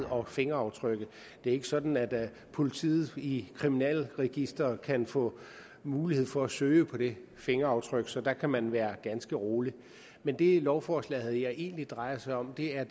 og fingeraftrykket det er ikke sådan at politiet i kriminalregisteret kan få mulighed for at søge på det fingeraftryk så der kan man være ganske rolig men det lovforslaget her egentlig drejer sig om er